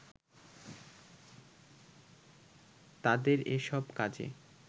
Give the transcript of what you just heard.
তাদের এসব কাজে